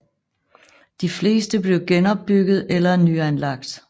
De fleste blev genopbygget eller nyanlagt